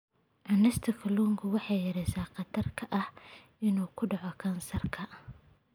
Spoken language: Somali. Cunista kalluunka waxay yaraynaysaa khatarta ah inuu ku dhaco kansarka.